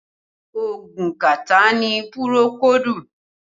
Oogun kàtá ni pùròkódù